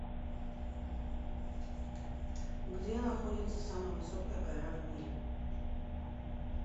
где находится самая высокая гора в мире